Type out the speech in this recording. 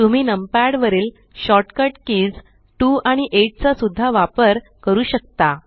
तुम्ही नमपॅड वरील shortcut कीज2आणि 8 चा सुद्धा वापर करू शकता